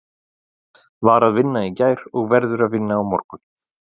Var að vinna í gær og verður að vinna á morgun.